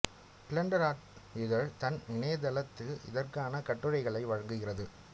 blender Art இதழ் தன் இணையதளத்தில் இதற்கான கட்டுரைகளை வழங்குகிறது